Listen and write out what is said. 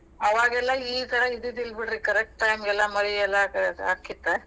ಅವಾಗೆಲ್ಲ ಈಥರ ಇದ್ದಿದಿಲ್ಲ ಬಿಡ್ರಿ correct time ಗೆಲ್ಲಾ ಮಳಿ ಎಲ್ಲಾ ಅಕ್ಕಿತ್ತಾ.